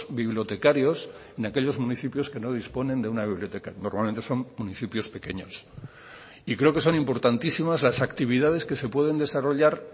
bibliotecarios en aquellos municipios que no disponen de una biblioteca normalmente son municipios pequeños y creo que son importantísimas las actividades que se pueden desarrollar